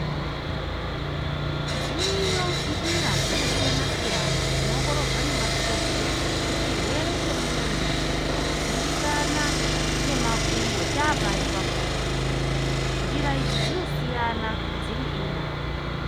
Dziriyo njira dzakasiyana siyana dzinoongororwa nemadhokoteya kuti chirwere chemuntu urikudzimbikana ngemakumbo chaapari pakona .Njira idzi dzinosiyana dziri ina .